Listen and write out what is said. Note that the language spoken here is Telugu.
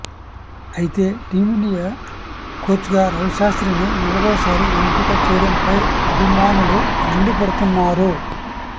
అయితే టీమిండియా కోచ్గా రవిశాస్త్రిని నాలుగోసారి ఎంపిక చేయడంపై అభిమానులు మండిపడుతున్నారు